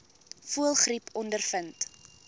voëlgriep ondervind